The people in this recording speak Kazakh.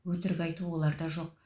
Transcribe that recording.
өтірік айту оларда жоқ